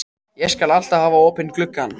Ég skal alltaf hafa opinn gluggann.